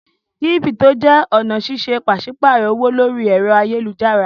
Kírípítò jẹ́ ọ̀nà ṣíṣe pàṣípààrọ̀ owó lórí ẹ̀rọ ayélujára.